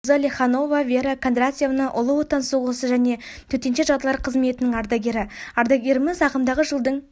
қызы леханова вера кондратьевна ұлы отан соғысы және төтенше жағдайлар қызметінің ардагері ардагеріміз ағымдаға жылдың